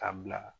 Ka bila